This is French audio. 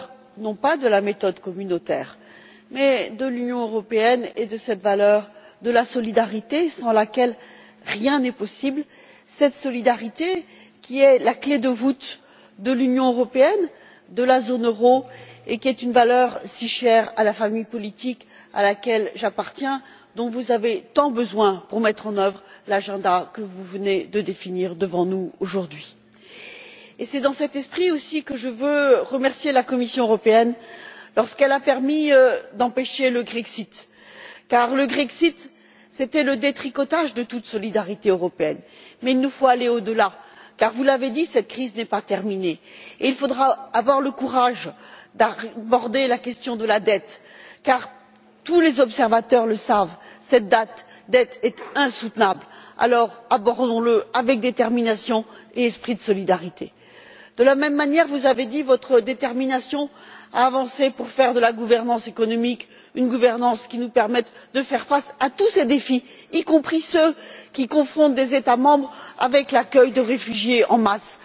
Monsieur le Président, je vous adresse comme d'autres toutes nos condoléances. Je veux aussi vous remercier pour le discours que vous avez tenu aujourd'hui qui revient au cœur non pas de la méthode communautaire mais de l'Union européenne et de cette valeur de la solidarité sans laquelle rien n'est possible. Cette solidarité qui est la clé de voûte de l'Union européenne, de la zone euro et qui est une valeur si chère à la famille politique à laquelle j'appartiens, dont vous avez tant besoin pour mettre en œuvre l'agenda que vous venez de définir devant nous aujourd'hui. C'est dans cet esprit aussi que je veux remercier la Commission européenne lorsqu'elle a permis d'empêcher le grexit car le grexit, c'était le détricotage de toute solidarité européenne. Mais il nous faut aller au delà car, vous l'avez dit, cette crise n'est pas terminée. Il faudra avoir le courage d'aborder la question de la dette car tous les observateurs le savent, cette dette est insoutenable. Alors, abordons la avec détermination et esprit de solidarité. De la même manière, vous avez dit votre détermination à avancer pour faire de la gouvernance économique une gouvernance qui nous permette de faire face à tous ces défis, y compris ceux qui confondent des États membres avec l'accueil de réfugiés en masse.